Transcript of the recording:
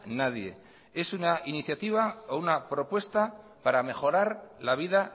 nadie es una iniciativa o una propuesta para mejorar la vida